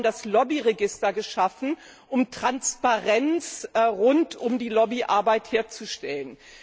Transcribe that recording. Wir haben das Lobby Register geschaffen, um Transparenz rund um die Lobbyarbeit herzustellen.